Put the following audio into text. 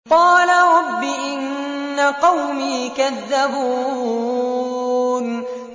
قَالَ رَبِّ إِنَّ قَوْمِي كَذَّبُونِ